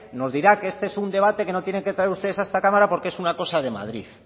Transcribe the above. nos dirá que este es un debate que no tienen que traer ustedes a esta cámara porque es una cosa de madrid